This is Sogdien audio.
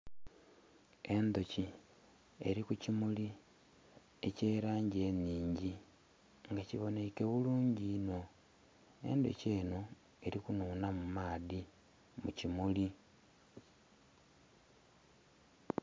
Endhuki eri kukimuli ekyerangi enhingi nga kiboneka bulungi inho. Endhuki eno erikunhunha mu maadhi mukimuli.